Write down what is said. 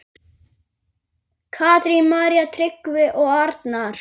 Katrín, María, Tryggvi og Arnar.